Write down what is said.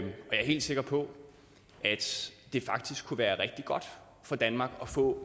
helt sikker på at det faktisk kunne være rigtig godt for danmark at få